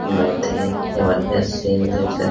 बहोत ही जबरदस्त सीन देख सक --